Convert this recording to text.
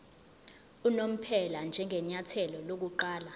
unomphela njengenyathelo lokuqala